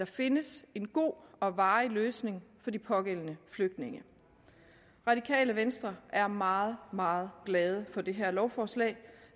findes en god og varig løsning for de pågældende flygtninge radikale venstre er meget meget glade for det her lovforslag